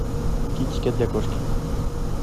китикет для кошки